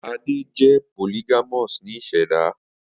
Ade jẹ polygamous ni iseda